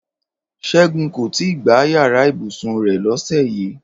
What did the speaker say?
Ṣẹ́gun kò tí ì gbá yàrá ibùsùn rẹ̀ lọ́sẹ̀ yìí